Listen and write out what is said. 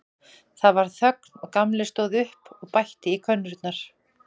Það varð þögn og Gamli stóð upp og bætti í könnurnar.